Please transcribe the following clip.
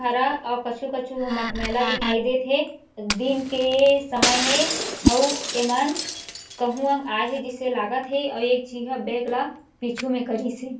हरा अउ कछु -कछु ह मटमैला दिखाई देथे दिन के समय ए अउ इमन कहुँ आय हे जैसे लागत है आउ एक छी ह बेग ला पीछू में करिस हे ।